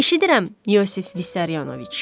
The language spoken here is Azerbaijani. Eşidirəm, İosif Vissarionoviç.